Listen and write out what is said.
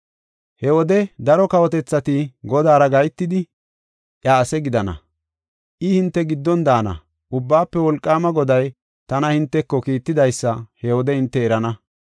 He wode daro kawotethati Godaara gahetidi iya ase gidana. I hinte giddon daana; Ubbaafe Wolqaama Goday tana hinteko kiittidaysa he wode hinte erana.